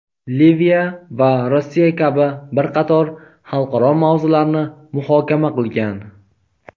Liviya va Rossiya kabi bir qator xalqaro mavzularni muhokama qilgan.